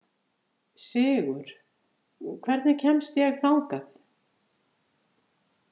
Sigur, hvernig kemst ég þangað?